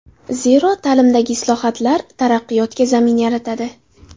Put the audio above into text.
Zero, ta’limdagi islohotlar taraqqiyotga zamin yaratadi.